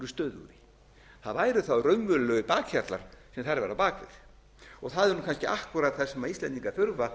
stöðugri það væru þá raunverulegir bakhjarlar sem þar væru á bak við það er nú kannski akkúrat það sem íslendingar þurfa